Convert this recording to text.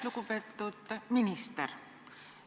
Lugupeetud minister!